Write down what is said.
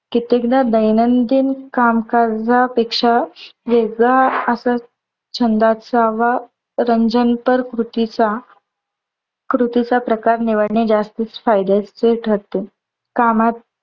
कित्तेकदा दैनंदिन कामकाजा पेक्ष्या वेगळा असा छंद असावा. रंजन प्रर कृतीचा कृतीचा प्रकार निवडणे जास्तच फायद्याचे ठरते. कामात